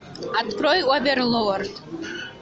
открой оверлорд